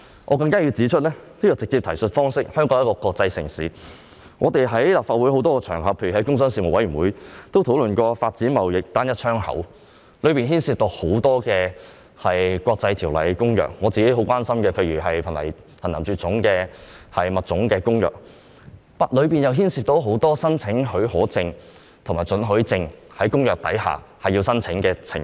我更加需要指出，香港是國際城市，在立法會很多場合如工商事務委員會，均有討論發展貿易單一窗口的事宜，當中也涉及很多國際條例和公約，例如我非常關注的《瀕危野生動植物種國際貿易公約》，而其中又牽涉很多須按照相關公約申請許可證及准許證的情況。